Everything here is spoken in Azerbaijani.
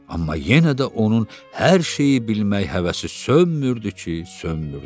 Amma yenə də onun hər şeyi bilmək həvəsi sönmürdü ki, sönmürdü.